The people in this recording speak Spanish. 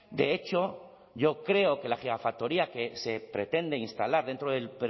de hecho yo creo que la gigafactoría que se pretende instalar dentro del